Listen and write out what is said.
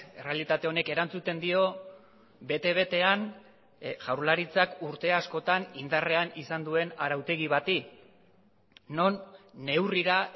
errealitate honek erantzuten dio bete betean jaurlaritzak urte askotan indarrean izan duen arautegi bati non neurrira